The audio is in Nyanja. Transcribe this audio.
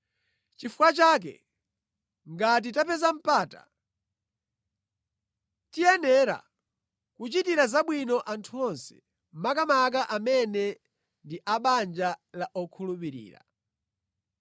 Nʼchifukwa chake ngati tapeza mpata, tiyenera kuchitira zabwino anthu onse, makamaka amene ndi a banja la okhulupirira.